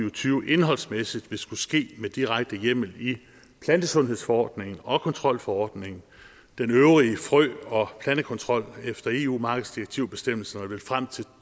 og tyve indholdsmæssigt vil skulle ske med direkte hjemmel i plantesundhedsforordningen og kontrolforordningen den øvrige frø og plantekontrol efter eu markedsdirektivbestemmelserne vil frem til to